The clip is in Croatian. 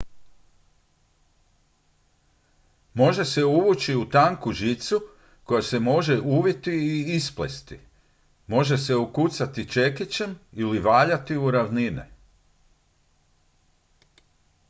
može se uvući u tanku žicu koja se može uviti i isplesti može se ukucati čekićem ili valjati u ravnine